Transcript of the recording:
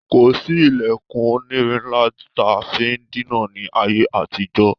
Kòsí ilẹkun onírin ńlá taa fi díná ni ayé àtijọ́.